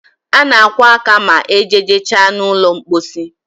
A na akwo aka ma ejeje cha na ụlọ mposi